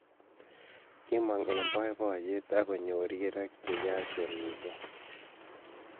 Kimong eng boiboiyet agonyor rirek che yachen missing